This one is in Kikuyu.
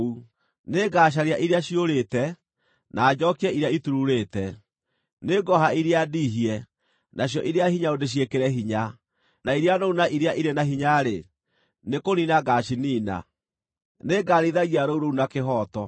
Nĩngacaria iria ciũrĩte, na njookie iria itururĩte. Nĩngooha iria ndiihie nacio iria hinyaru ndĩciĩkĩre hinya, no iria noru na iria irĩ na hinya-rĩ, nĩkũniina ngaaciniina. Nĩngarĩithagia rũũru rũu na kĩhooto.